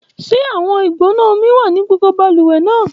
Ṣe awọn igbona omi wa ni gbogbo baluwe naa?